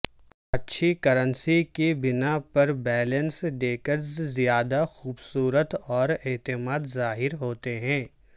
اچھی کرنسی کی بنا پر بیلنس ڈیکرز زیادہ خوبصورت اور اعتماد ظاہر ہوتے ہیں